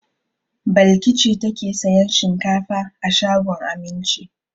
Balki ce take sayan shinkafa a shagon Aminci.